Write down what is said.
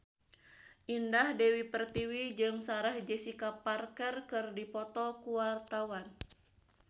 Indah Dewi Pertiwi jeung Sarah Jessica Parker keur dipoto ku wartawan